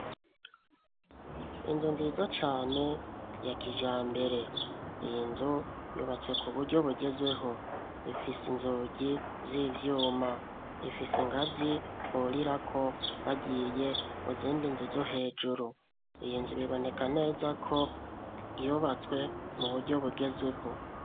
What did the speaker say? Inzu nziza cane, ya kijambere; iyi nzu yubatswe ku buryo bugezweho; ifise inzugi z'ivyuma, ifise ingazi burirako, bagiye mu zindi nzu zo hejuru; iyi nzu, biboneka neza ko, yubatswe mu buryo bugezweho.